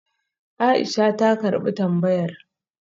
Aisha ta karbi tambayar